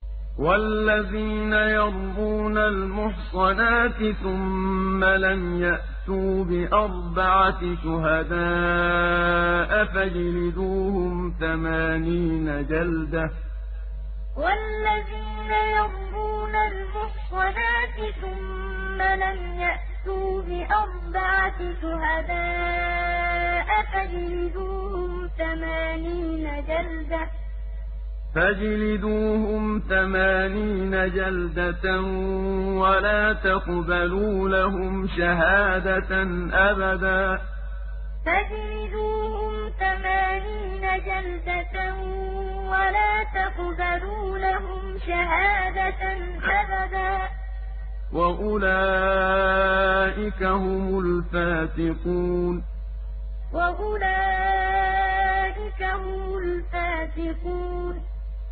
وَالَّذِينَ يَرْمُونَ الْمُحْصَنَاتِ ثُمَّ لَمْ يَأْتُوا بِأَرْبَعَةِ شُهَدَاءَ فَاجْلِدُوهُمْ ثَمَانِينَ جَلْدَةً وَلَا تَقْبَلُوا لَهُمْ شَهَادَةً أَبَدًا ۚ وَأُولَٰئِكَ هُمُ الْفَاسِقُونَ وَالَّذِينَ يَرْمُونَ الْمُحْصَنَاتِ ثُمَّ لَمْ يَأْتُوا بِأَرْبَعَةِ شُهَدَاءَ فَاجْلِدُوهُمْ ثَمَانِينَ جَلْدَةً وَلَا تَقْبَلُوا لَهُمْ شَهَادَةً أَبَدًا ۚ وَأُولَٰئِكَ هُمُ الْفَاسِقُونَ